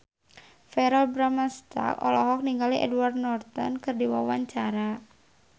Verrell Bramastra olohok ningali Edward Norton keur diwawancara